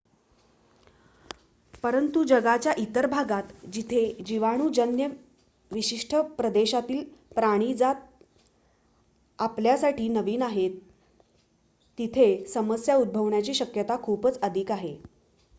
परंतु जगाच्या इतर भागात जिथे जीवाणूजन्य विशिष्ट प्रदेशातील प्राणिजात आपल्यासाठी नवीन आहेत तिथे समस्या उद्भवण्याची शक्यता खूपच अधिक आहे